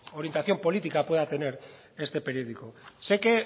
orientación política pueda tener este periódico sé que